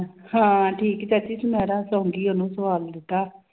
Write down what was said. ਹਾਂ ਠੀਕ ਹੈ ਚਾਚੀ ਸੁਨਾਰਾ ਸੌਂ ਗਈ ਉਹਨੂੰ ਸਵਾ ਵੀ ਦਿੱਤਾ।